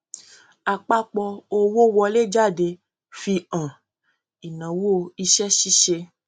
àpapọ owó wọléjáde fi hàn ináwó iṣẹṣíṣe